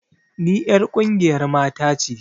Ni 'yar ƙungiyar mata ce